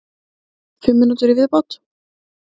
Fimm mínútur í viðbótartíma?